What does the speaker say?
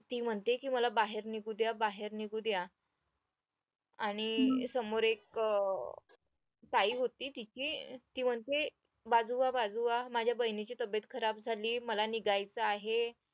ती म्हणते मला बाहेर निघू द्या बाहेर निघू द्या आणि समोर एक ताई होती तिची ती म्हणते बाजू व्हा बाजू व्हा माझ्या बहिणीची तब्येत खराब झाली मला निघायचं आहे